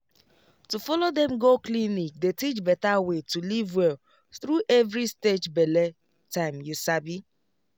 to follow dem go clinic dey teach better way to live well through every stage bele time you sabi